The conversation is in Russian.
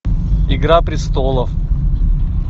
игра престолов